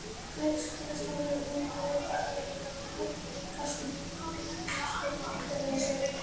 Leikskólastjóri er Ingunn Ríkharðsdóttir en hún er dóttir Ríkharðs Jónssonar, hins frækna knattspyrnumanns af Akranesi.